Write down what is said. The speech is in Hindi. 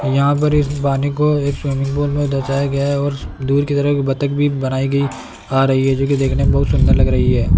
यहां पर इस पानी को एक स्विमिंग पूल में दर्शाया गया और दूर की तरफ बत्तख भी बनाई गई आ रही है जो की देखने में बहोत सुंदर लग रही है।